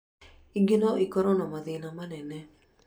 Ingĩ no ikorwo na mathĩna manene